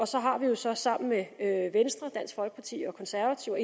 så har vi jo så sammen med venstre dansk folkeparti konservative og